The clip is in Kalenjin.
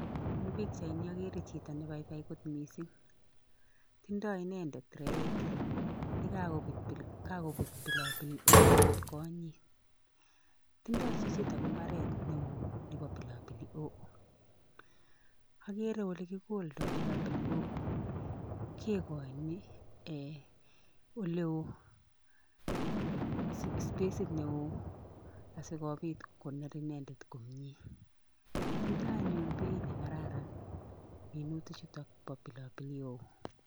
Eng' pikchaini agere chito nepoipoi akot mising' tindoy inendet trait nekagoput pilopilihoho kotkonyit tindoy chichitok imbaret neo nepo pilopilihoho, agere ole kigoldoy pilopilihoho kegoini "ee" oleo spacit neo asikopit koner inendet komnyee, tindoy anyun bait nekararan minutik chutok pa pilopilihoho.